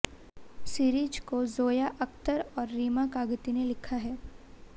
series को ज़ोया अख़्तर और रीमा कागती ने लिखा है